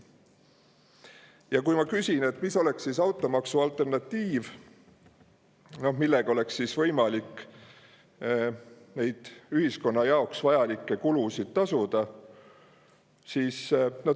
Ja ma küsin, mis oleks automaksu alternatiiv, mille abil oleks võimalik neid ühiskonna jaoks vajalikke kulutusi.